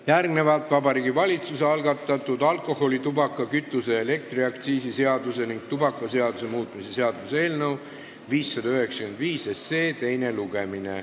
Järgmine punkt on Vabariigi Valitsuse algatatud alkoholi-, tubaka-, kütuse- ja elektriaktsiisi seaduse ning tubakaseaduse muutmise seaduse eelnõu 595 teine lugemine.